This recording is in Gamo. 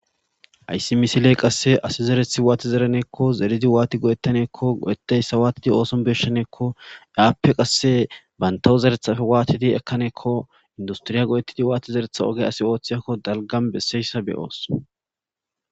Ha.yssi misiley qasse asi zerethi waati zereneekko zeridi waati go7ettaneekko godetayssa waatidi ooson beshaneekko aappe qasse bantawu zerethafe waatidi ekkaneekko industriya go'ettidi waati zeretha oge asi ooththiyakko dalgan besseyssa beyoos.